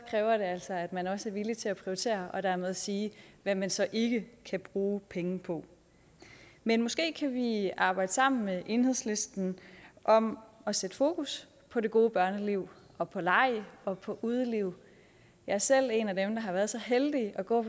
kræver det altså at man også er villig til at prioritere og dermed sige hvad man så ikke kan bruge penge på men måske kan vi arbejde sammen med enhedslisten om at sætte fokus på det gode børneliv og på leg og på udeliv jeg er selv en af dem der har været så heldig at gå